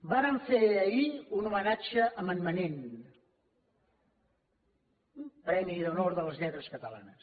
vàrem fer ahir un homenatge a en manent premi d’honor de les lletres catalanes